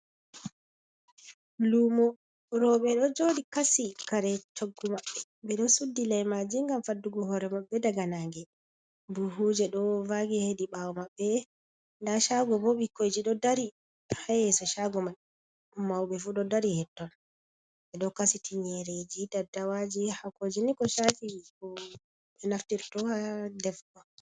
Luumo, roɓe ɗo jooɗi kasi kare choggu maɓɓe, ɓe ɗo suddi leimaaji ngam faddugo hoore maɓɓe daga naange, buhuuje ɗo vaagi hedi ɓaawo maɓɓe, nda shaago bo ɓikkoiji ɗo dari ha yeso shaago mai, mauɓe fu ɗo dari het-ton. Ɓe ɗo kasi tingereji, daddawaaji, haakooji ni ko chaafi ko ɓe naftirto ha defugo.